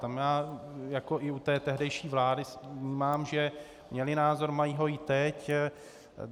Tam já jako i u té tehdejší vlády vnímám, že měli názor, mají ho i teď.